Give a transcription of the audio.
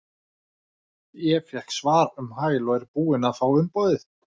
Ég fékk svar um hæl og er búinn að fá umboðið.